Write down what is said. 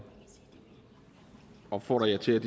opfordrer jer til